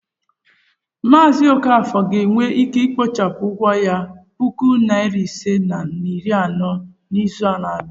Mazi okafor ga-enwe ike ikpochapụ ụgwọ ya puku nari ise na iri anọ n'izu na-abịa.